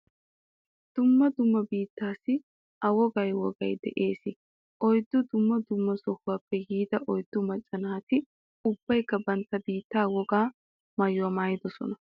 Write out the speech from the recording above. Dumma dumma biittaassi a wogay wogay de'eesi. Oyddu dumma dumma sohaappe yiida oyddu macca naati ubbaykka bantta biittaa wogaa maayuwa maayidosona.